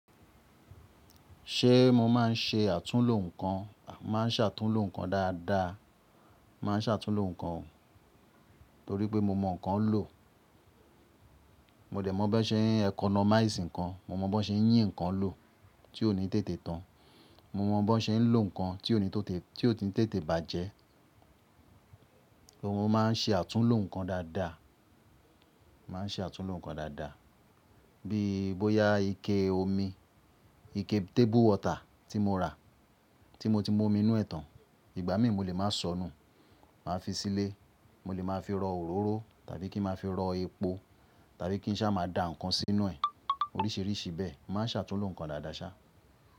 Ṣe mo máa ń ṣe àtúnlo nǹkan? Máa ń ṣàtúnlo nǹkan dáadáa, máa ń ṣàtúnlo nǹkan o, torí pé mo mọ nǹkan lò. Mo dẹ̀ mọ̀ bí wọ́n ṣe ń economize nǹkan, mo mọ bí wọ́n ṣe ń yín nǹkan lò tí ó ní tètè tán, mo mọ bí wọ́n ṣe ń lò nǹkan tí ó ti ń tètè bàjẹ́. Mo máa ń ṣe àtúnlo nǹkan dáadáa, máa ń ṣe àtúnlo nǹkan dáadáa. Bí bóyá ike omi, ike table water tí mo rà, tí mo ti mu omi inú ẹ̀tàn, ìgbà mí mo lè máa ṣọnù, màá fi sílé, mo lè máa fi rọ òróró tàbí kí n máa fi rọ epo tàbí kí n sá máa da nǹkan sínú ẹ̀, oríṣiríṣi bẹ́ẹ̀. Máa ń ṣàtúnlo nǹkan dáadáa ṣá.